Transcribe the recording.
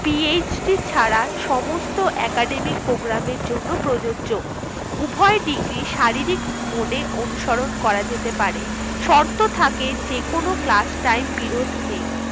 PhD ছাড়া সমস্ত এ academic program এর জন্য প্রযোজ্য উভয় ডিগ্রী শারীরিক mode এ অনুসরণ করা যেতে পারে শর্ত থাকে যেকোনো ক্লাস টাইম বিরোধ নেই